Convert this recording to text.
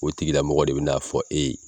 O tigila mɔgɔ de be n'a fɔ e ye